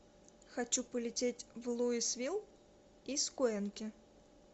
хочу полететь в луисвилл из куэнки